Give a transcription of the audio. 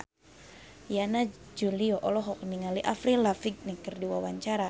Yana Julio olohok ningali Avril Lavigne keur diwawancara